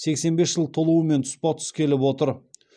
сексен бес жыл толуымен тұспа тұс келіп отыр